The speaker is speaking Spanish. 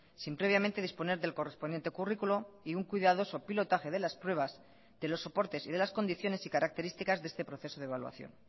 sin previamente disponer del correspondiente currículo y un cuidadoso pilotaje de las pruebas de los soportes y de las condiciones y características de este proceso de evaluación